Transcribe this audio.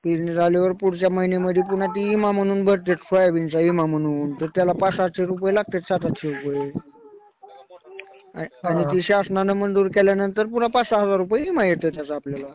पेरणी झाल्यावर पुढच्या महिन्यामध्ये ते विमा म्हणून भरतात, सोयाबीनचा विमा म्हणून. तर त्याला पाच-सातशे रुपये लागतात, सात-आठशे रुपये. आणि शासनाने मंजूर केल्यानंतर पुन्हा मग पाच-सहा हजार रुपये विमा येते त्याचा आपल्याला.